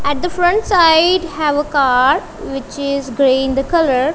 at the front side have a car which is grey in the colour.